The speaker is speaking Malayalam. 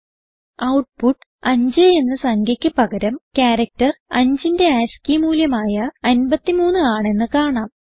ഔട്ട്പുട്ട് 5 എന്ന സംഖ്യക്ക് പകരം ക്യാരക്ടർ 5ന്റെ ആസ്കി മൂല്യമായ 53 ആണെന്ന് കാണാം